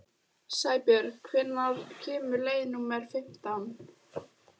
Sæbjörg, hvenær kemur leið númer fimmtán?